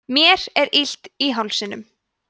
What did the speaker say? mér er illt í hálsinum